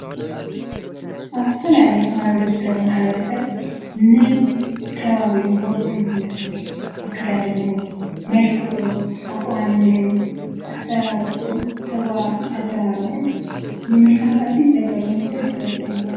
ኣስተፈላልየደሥብልናንከብሞ ሓብረሰብ ነ ከባብኡ ቦትኡን ዘመስል ኣከዳድንኡ መልክዑ ኣቛንኡ ኣሠራርሑን ተጓራትን ኣሠራርዑን መሙልካት እዙይ ዘገረ መን ደሥብልናን።